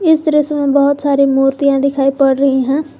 इस दृश्य में बहुत सारी मूर्तियां दिखाई पड़ रही हैं।